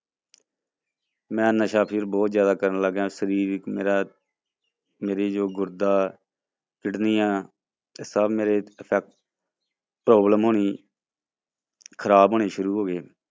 ਮੈਂ ਨਸ਼ਾ ਫਿਰ ਬਹੁਤ ਜ਼ਿਆਦਾ ਕਰਨ ਲੱਗਿਆ, ਸਰੀਰ ਮੇਰਾ ਮੇਰੇ ਜੋ ਗੁਰਦਾ ਕਿਡਨੀਆਂ ਤੇ ਸਭ ਮੇਰੇ ਅਫੈਕ problem ਹੋਣੀ ਖ਼ਰਾਬ ਹੋਣੇ ਸ਼ੁਰੂ ਹੋ ਗਏ।